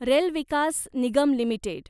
rail Vikas Nigam limited